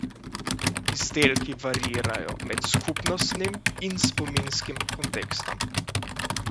Izdelki variirajo med skupnostnim in spominskim kontekstom.